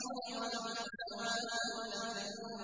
وَلَا الظُّلُمَاتُ وَلَا النُّورُ